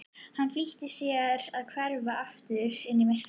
Hann flýtir sér að hverfa aftur inn í myrkrið.